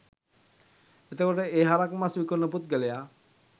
එතකොට ඒ හරක් මස් විකුණන පුද්ගලයා